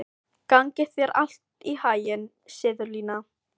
Gangi þér allt í haginn, Sigurlína.